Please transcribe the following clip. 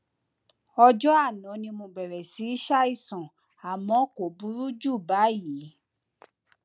ọjọ àná ni mo bẹrẹ síí ṣàìsàn àmọ kò burú jù báyìí